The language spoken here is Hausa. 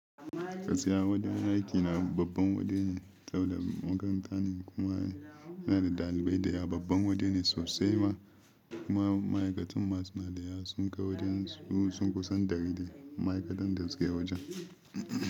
Gaskiya wajen aiki na babban waje ne, saboda makaranta ne kuma yana da ɗalibai da yawa. Babban waje ne sosai ma kuma ma'aikatan ma suna dayawa sun kai wajensu sun kusan ɗari dai ma'aikatan da suke a wajen.